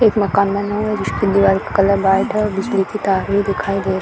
एक मकान बना है जिसकी दीवार का कलर व्हाइट है और बिजली की तार भी दिखाई दे रही है।